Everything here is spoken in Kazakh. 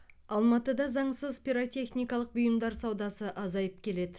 алматыда заңсыз пиротехникалық бұйымдар саудасы азайып келеді